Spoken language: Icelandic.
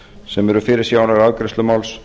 sem eru fyrirsjáanlegar á afgreiðslu máls